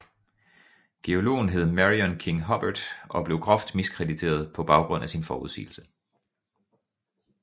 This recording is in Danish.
Geologen hed Marion King Hubbert og blev groft miskrediteret på baggrund af sin forudsigelse